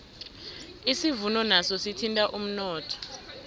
isivuno naso sithinta umnotho